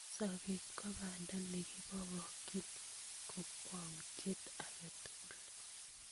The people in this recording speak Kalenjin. Sobet ko banda ngeboibochi kakwautiet age tugul